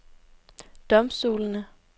domstolene